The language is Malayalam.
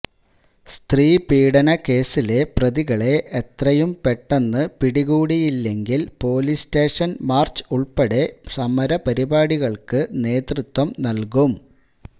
സ്ത്രീ പീഡന കേസിലെ പ്രതികളെ എത്രയും പെട്ടെന്ന് പിടികൂടിയില്ലെങ്കില് പോലീസ് സ്റ്റേഷന് ാര്ച്ച് ഉള്പ്പെടെ സമരപരിപാടികള്ക്ക് നേതൃത്വം നല്കും